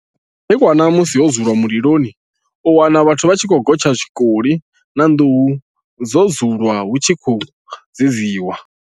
Nga madekwana musi ho dzulwa mililoni u wana vhathu vha tshi khou gotsha tshikoli na nḓuhu dzo dzulwa hu tshi khou dzedziwa.